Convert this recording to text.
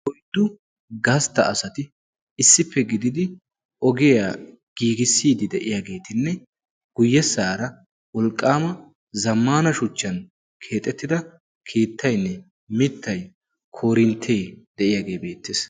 Oyddu gastta asati issippe gididi ogiyaa giigissiidi de'iyaageetinne guyyessaara wolqqaama zammaana shuchchan keexettida keettainne mittai korinttee de'iyaagee beettees.